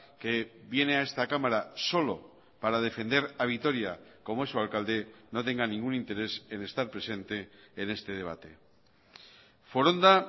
que viene a esta cámara solo para defender a vitoria como es su alcalde no tenga ningún interés en estar presente en este debate foronda